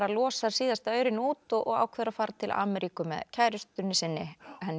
losar síðasta aurinn út og ákveður að fara til Ameríku með kærustunni sinni